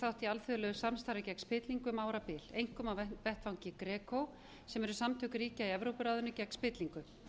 þátt í alþjóðlegu samstarfi gegn spillingu um árabil einkum á vettvangi greco sem eru samtök ríkja í evrópuráðinu gegn spillingu